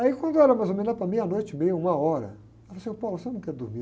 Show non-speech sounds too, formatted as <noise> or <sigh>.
Aí, quando era mais ou menos lá para meia-noite e meia, uma hora, ela falou assim, ôh, <unintelligible> você não quer dormir?